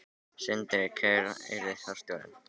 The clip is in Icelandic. Sindri: Hver yrði forstjórinn?